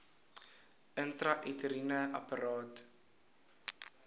intrauteriene apparaat iua